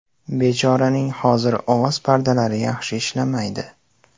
Bechoraning hozir ovoz pardalari yaxshi ishlamaydi.